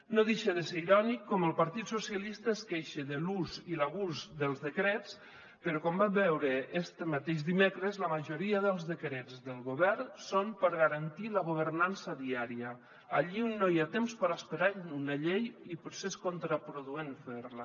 no deixa de ser irònic com el partit socialista es queixa de l’ús i l’abús dels decrets però com vam veure este mateix dimecres la majoria dels decrets del govern són per garantir la governança diària allí on no hi ha temps per esperar una llei i potser és contraproduent fer la